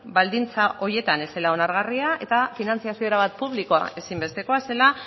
baldintza horietan ez zela onargarria eta finantzazio erabat publikoa ezinbestekoa zela